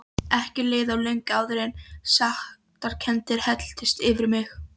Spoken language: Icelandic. Ekki leið á löngu áður en sektarkenndin helltist yfir mig.